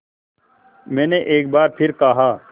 मैंने एक बार फिर कहा